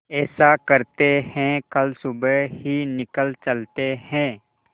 ऐसा करते है कल सुबह ही निकल चलते है